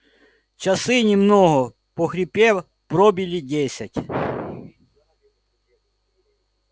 часы немного похрипев пробили десять